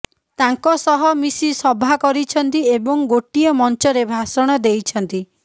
ତାଙ୍କ ସହ ମିଶି ସଭା କରିଛନ୍ତି ଏବଂ ଗୋଟିଏ ମଞ୍ଚରେ ଭାଷଣ ଦେଇଛନ୍ତି